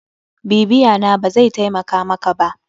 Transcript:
BIbiya na, bazai taimaka maka ba.